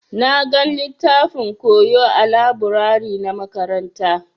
Na gan littafin koyo ã laburare na makaranta.